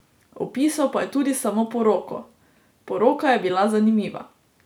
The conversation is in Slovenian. Opisal pa je tudi samo poroko: "Poroka je bila zanimiva.